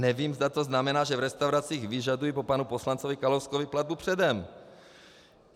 Nevím, zda to znamená, že v restauracích vyžadují po panu poslanci Kalouskovi platbu předem.